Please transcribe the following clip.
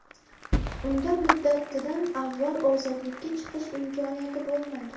Unda muddatidan avval ozodlikka chiqish imkoniyati bo‘lmaydi.